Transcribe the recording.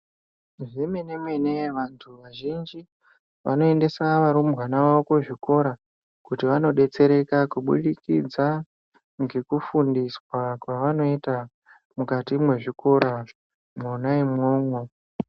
Zvemene-mene vantu vazhinji vanoendesa varumbwana vavo kuzvikora kuti vanobetsereka kubudikidza ngekufundiswa kwavanoita mukati mezvikora mwona imwomwo.